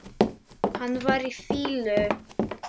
Hann var í fýlu.